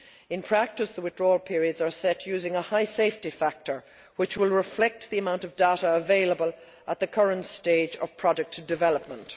In practice the withdrawal periods are set using a high safety factor which will reflect the amount of data available at the current stage of product development.